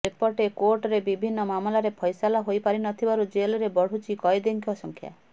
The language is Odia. ସେପଟେ କୋର୍ଟରେ ବିଭିନ୍ନ ମାମଲାର ଫ୘ସଲା ହୋଇପାରୁନଥିବାରୁ ଜେଲରେ ବଢ଼ୁଛି କଏଦୀଙ୍କ ସଂଖ୍ୟା